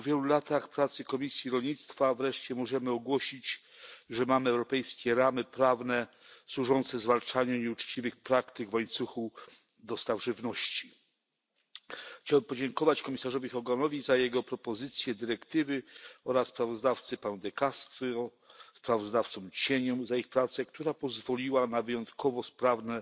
Po wielu latach pracy komisji rolnictwa wreszcie możemy ogłosić, że mamy europejskie ramy prawne służące zwalczaniu nieuczciwych praktyk w łańcuchu dostaw żywności. Chciałbym podziękować komisarzowi Hoganowi za jego propozycję dyrektywy oraz sprawozdawcy Paolo De Castro, sprawozdawcom cieniom za ich pracę, która pozwoliła na wyjątkowo sprawne